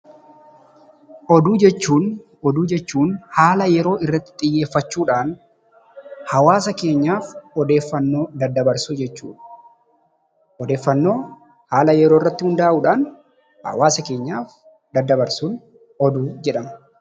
Oduu jechuun, oduu jechuun haala yeroo irratti xiyyeeffachuudhaan hawaasa keenyaaf odeeffannoo daddabarsuu jechuudha. Odeeffannoo haala yeroorratti hundaa'uudhaan hawaasa keenyaaf daddabarsuun oduu jedhama.